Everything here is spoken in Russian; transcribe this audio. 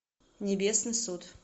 небесный суд